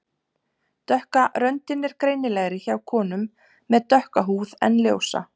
Dökka röndin er greinilegri hjá konum með dökka húð en ljósa.